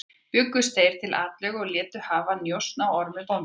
Bjuggust þeir til atlögu og létu hafa njósn á Ormi bónda.